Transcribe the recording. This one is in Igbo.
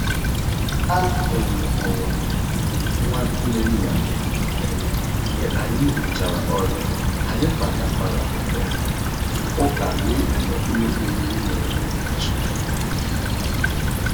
A um hụrụ m nwa nwanne nna m um mgbe anyị rụchara ọrụ, anyị kparịtakwara um ụka ruo mgbe ụlọ oriri na ọṅụṅụ mechiri